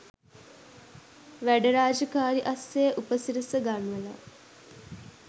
වැඩ රාජකාරි අස්සේ උපසිරස ගන්වලා